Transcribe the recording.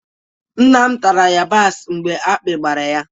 Nna m tara yabasị mgbe akpị gbara ya